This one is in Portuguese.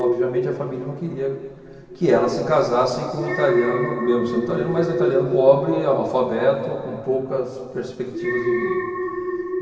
Obviamente, a família não queria que ela se casasse com um italiano, mesmo sendo italiano, mas um italiano pobre, analfabeto, com poucas perspectivas de vida.